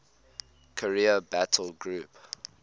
carrier battle group